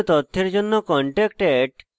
বিস্তারিত তথ্যের জন্য